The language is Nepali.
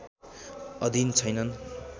अधिन छैनन्